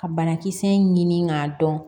Ka banakisɛ in ɲini k'a dɔn